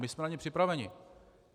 My jsme na ně připraveni.